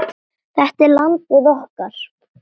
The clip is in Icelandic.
Þetta er landið okkar.